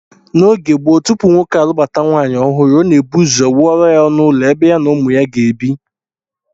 N'oge gboo, tupu nwoke alụbata nwaanyị ọhụrụ, ọ na-ebu ụzọ wuoro ya ọnụụlọ ebe ya na ụmụ ya ga-ebi